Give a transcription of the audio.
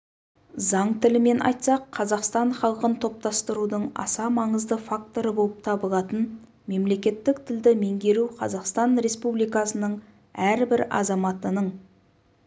заң тілімен айтсақ қазақстан халқын топтастырудың аса маңызды факторы болып табылатын мемлекеттік тілді меңгеру қазақстан республикасының әрбір азаматының